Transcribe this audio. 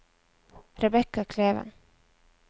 Rebecca Kleven